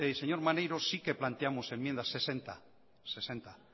señor maneiro si que planteamos enmiendas sesenta